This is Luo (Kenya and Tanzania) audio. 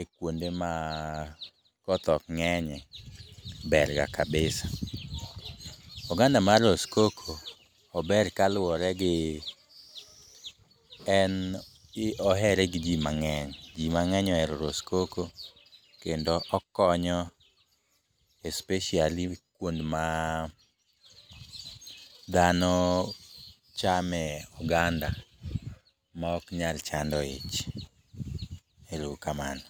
e kwonde ma koth ok ng'enyye ber ga kabisa. Oganda mar roskoko, ober kaluwore gi, en ohere gi ji mang'eny. Ji mang'eny ohero roskoko kendo okonyo especially kwond ma dhano chame oganda ma ok nyalo chando ich. Ero uru kamano.